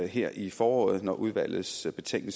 her i foråret og når udvalgets betænkning